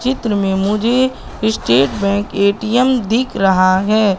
चित्र में मुझे स्टेट बैंक ए_टी_एम दिख रहा है।